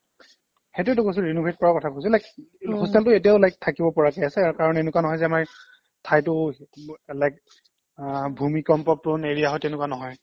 সেইটোৱেতো কৈছো renovate কৰাৰ কথা কৈছো like hostel টো এতিয়াও like থাকিব পৰাকে আছে কাৰণ এনেকুৱা নহয় যে আমাৰ ঠাইটো like আহ ভূমিকম্প prone area হয় তেনেকুৱা নহয়